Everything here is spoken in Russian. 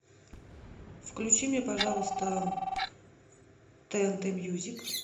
включи мне пожалуйста тнт мьюзик